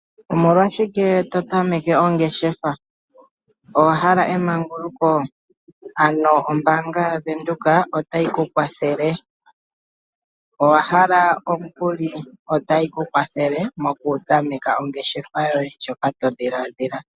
Omolwashike totameke ongeshefa? Owahala emangulukoo? Ano ombaanga yaVenduka otayikukwathele, owahala omukuli? Otayikukwathele mokutameka ongeshefa yoye ndjoka todhilaadhila.